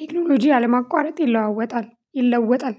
ቴክኖሎጂ አለማቋረጥ ይለዋወጣል ይለወጣል